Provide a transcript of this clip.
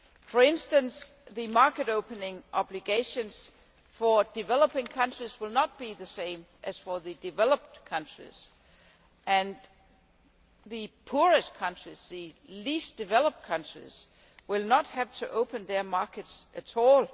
For instance, the market opening obligations for developing countries will not be the same as for the developed countries, and the poorest countries the least developed countries will not have to open their markets at all.